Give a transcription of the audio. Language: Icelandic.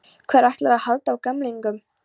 Hver ætlar að halda á gemlingnum?